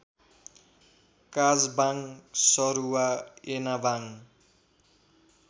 काजबाङ सरुवा एनाबाङ